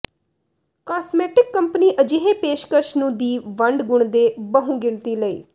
cosmetic company ਅਜਿਹੇ ਪੇਸ਼ਕਸ਼ ਨੂੰ ਦੀ ਵੰਡ ਗੁਣ ਦੇ ਬਹੁਗਿਣਤੀ ਲਈ